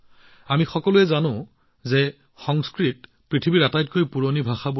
আমি সকলোৱে জানো যে সংস্কৃত ভাষা পৃথিৱীৰ অন্যতম পুৰণি ভাষা